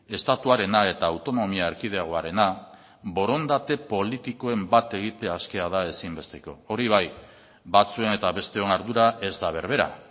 estatuarena eta autonomia erkidegoarena borondate politikoen bat egitea askea da ezinbesteko hori bai batzuen eta besteon ardura ez da berbera